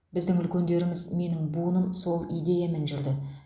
біздің үлкендеріміз менің буыным сол идеямен жүрді